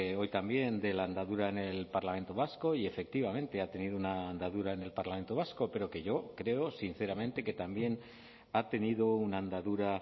hoy también de la andadura en el parlamento vasco y efectivamente ha tenido una andadura en el parlamento vasco pero que yo creo sinceramente que también ha tenido una andadura